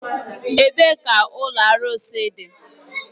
Ebee ka ụlọ arụsị dị?